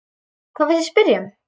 Hvað viltu spyrja um?